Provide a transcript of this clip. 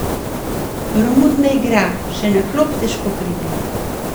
Romun ne igra, še na klop težko pride.